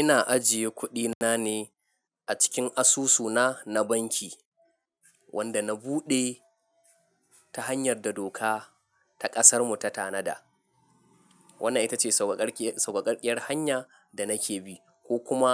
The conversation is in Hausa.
Ina ajiye kuɗina ne a cikin asusuna na banki wanda na buɗe ta hanyar da doka ta ƙasarmu ta tanada, wannan ita ce sauƙaƙarƙiyar hanya da nake bi ko kuma